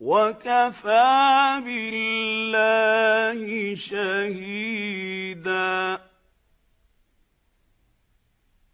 وَكَفَىٰ بِاللَّهِ شَهِيدًا